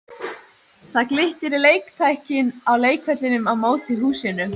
Það glittir í leiktækin á leikvellinum á móti húsinu.